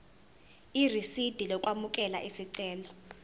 irisidi lokwamukela isicelo